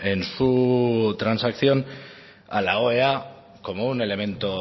en su transacción a la oea como un elemento